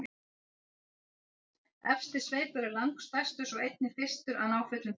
efsti sveipur er langstærstur og einnig fyrstur að ná fullum þroska